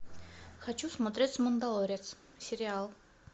хочу смотреть мандалорец сериал